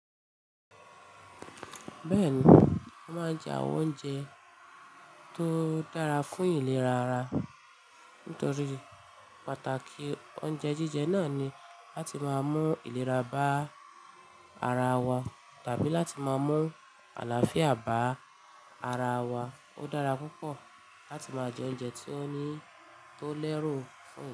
Bẹ́ẹ̀ni, ó máa ń jẹ àwọn oúnjẹ tó dára fún ìlera ara. Nítorí pàtàkì oúnjẹ jíjẹ náà ni láti máa mú ìlera bá ara wa tàbí láti máa mú àlàáfíà bá ara wa. Ó dára púpọ̀ láti máa jẹ oúnjẹ tó ní, tó lẹ́rù fún ìlera.